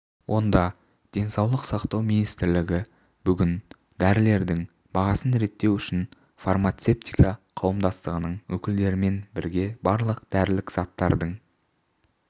онда денсаулық сақтау министрлігі бүкіл дәрілердің бағасын реттеу үшін фармацевтика қоғамдастығының өкілдерімен бірге барлық дәрілік заттардың